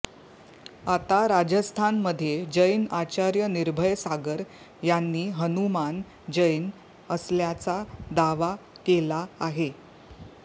आता राजस्थानमध्ये जैन आचार्य निर्भय सागर यांनी हनुमान जैन असल्याचा दावा केला आहे